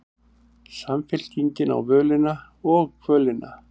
Samfylkingin á völina og kvölina